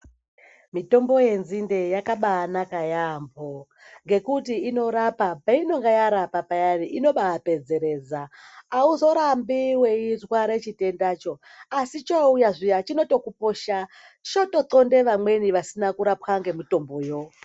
Mitombo yenzinde yakabanaka yamho nekuti inorapa, painenge yarapa payani, inoba pedzeredza hauzonyanyi kuramba weizwa chitendacho asi chouya zviya chinokuposha chinototonde vamweni vanenge vasina kurapwa nemitomboyo.